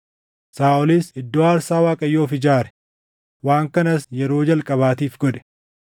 Saaʼolis iddoo aarsaa Waaqayyoof ijaare; waan kanas yeroo jalqabaatiif godhe.